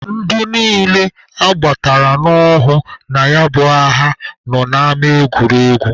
Ndị niile agbatara n'ohu na ya bụ agha nọ n'ama egwuregwu.